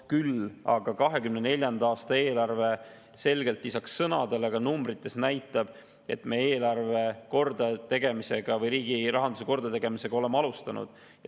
Küll aga 2024. aasta eelarve näitab selgelt lisaks sõnadele ka numbrites, et me oleme alustanud eelarve või riigi rahanduse kordategemist.